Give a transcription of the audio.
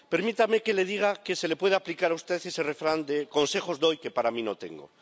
Permítame que le diga que se le pueda aplicar a usted ese refrán de consejos doy, que para mí no tengo.